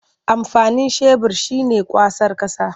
Amfanin shebur shi ne kwasar ƙasa.